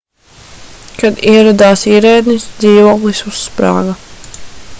kad ieradās ierēdnis dzīvoklis uzsprāga